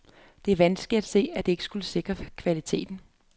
Det er vanskeligt at se, at dette skulle sikre kvalitet.